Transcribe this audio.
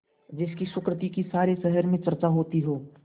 जिसकी सुकृति की सारे शहर में चर्चा होती हो